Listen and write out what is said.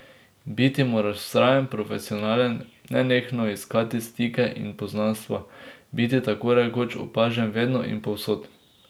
Biti moraš vztrajen, profesionalen, nenehno iskati stike in poznanstva, biti tako rekoč opažen vedno in povsod.